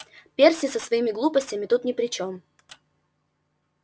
перси со своими глупостями тут ни при чём